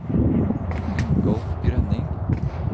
Ingolf Grønning